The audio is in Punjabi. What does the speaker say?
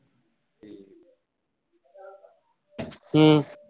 ਹਮ